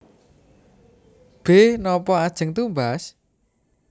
B Napa ajeng tumbas